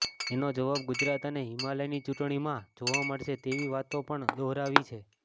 એનો જવાબ ગુજરાત અને હિમાચલની ચૂંટણીમાં જોવા મળશે તેવી વાતો પણ દહોરાવી છે